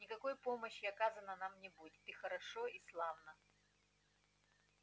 никакой помощи оказано нам не будет и хорошо и славно